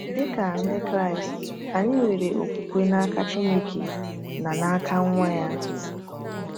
Dị ka Ndị Kraịst, anyị nwere okwukwe n’aka Chineke na n’aka Nwa ya.